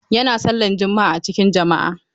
Yana sallan juma'a a cikin jama'a.